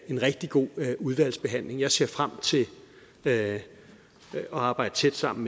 en rigtig god udvalgsbehandling jeg ser frem at arbejde tæt sammen